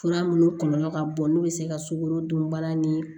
Fura minnu kɔlɔlɔ ka bon n'u bɛ se ka sukorodunbana ni